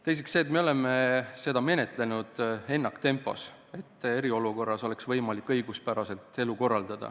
Teiseks seepärast, et me oleme seda menetlenud ennaktempos, et eriolukorras oleks võimalik õiguspäraselt elu korralda.